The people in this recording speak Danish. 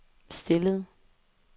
stillede